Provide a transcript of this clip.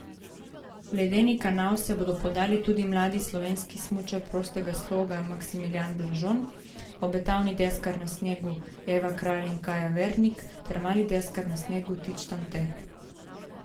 V ledeni kanal se bodo podali tudi mladi slovenski smučar prostega sloga Maksimilijan Blažon, obetavni deskarki na snegu Eva Kralj in Kaja Verdnik ter mladi deskar na snegu Tit Štante.